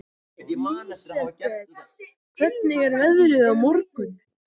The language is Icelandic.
Lísebet, hvernig er veðrið á morgun?